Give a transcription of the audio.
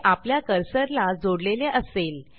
ते आपल्या कर्सरला जोडलेले असेल